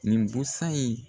Nin busan in